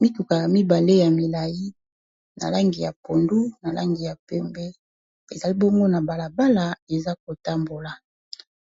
Mituka mibale ya milayi na langi ya pondu na langi ya pembe. Ezali bongo na balabala eza kotambola,